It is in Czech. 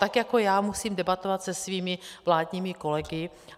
Tak jako já musím debatovat se svými vládními kolegy.